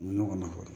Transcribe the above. Nɔgɔ nafa